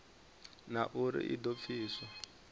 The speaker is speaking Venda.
na uri i do pfiswa